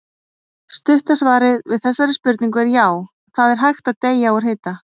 Stutta svarið við þessari spurningu er já, það er hægt að deyja úr hita.